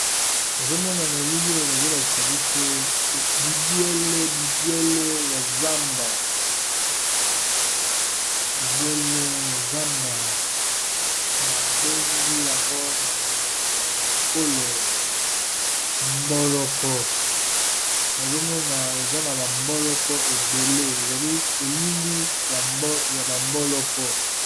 Nazomona na elili oyo bazolakisa biso bibwele ya zamba babengi yango na monoko ya ekolo mboloko azomona eza na bamboloko ebele ezali elili ya bamboloko.